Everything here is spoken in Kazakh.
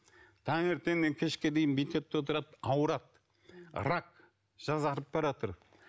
таңертеңнен кешке дейін бүйтеді де отырады ауырады рак жасарып баратыр